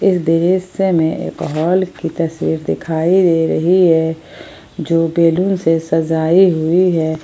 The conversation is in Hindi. इस दृश्य में एक हाल की तस्वीर दिखाई दे रही है जो बैलून से सजाई हुई है।